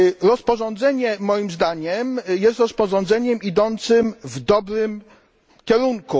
Rozporządzenie, moim zdaniem, jest rozporządzeniem idącym w dobrym kierunku.